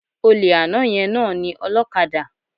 Olè àná yẹn náà ni ọlókadà